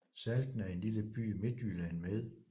Salten er en lille by i Midtjylland med